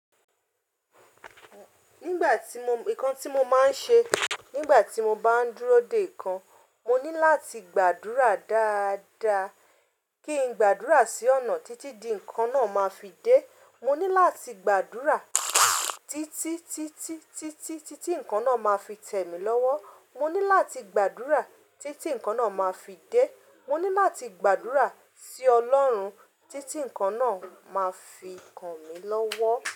Nígbà tí mo, nǹkan tí mo máa ń ṣe nígbà tí mo bá ń dúró dè nǹkan, mo ní láti gbàdúrà dáadáa, kí n gbàdúrà sí ọ̀nà títí di nǹkan náà máa fi dé, mo ní láti gbàdúrà títí, títí, títí, títí nǹkan náà máa fi tẹ̀ mí lọ́wọ́. Mo ní láti gbàdúrà títí nǹkan náà máa fi dé, mo ní láti gbàdúrà sí Ọlọ́run títí nǹkan náà máa fi kan mí lọ́wọ́